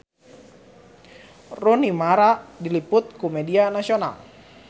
Rooney Mara diliput ku media nasional